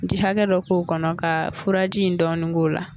Ji hakɛ dɔ k'o kɔnɔ ka furaji in dɔɔnin k'o la